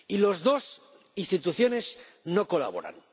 Y las dos instituciones no colaboran.